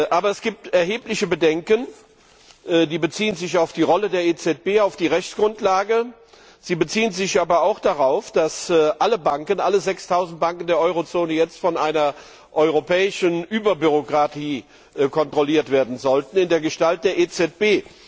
Aber es gibt erhebliche Bedenken, die sich auf die Rolle der EZB beziehen, auf die Rechtsgrundlage, sie beziehen sich aber auch darauf, dass alle 6000 Banken der Eurozone jetzt von einer europäischen Überbürokratie kontrolliert werden sollen in der Gestalt der EZB.